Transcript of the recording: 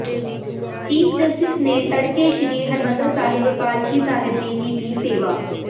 chief justice ਨੇ ਤੜਕੇ ਸ੍ਰੀ ਹਰਿਮੰਦਰ ਸਾਹਿਬ ਪਾਲਕੀ ਸਾਹਿਬ ਦੀ ਕੀਤੀ ਸੇਵਾ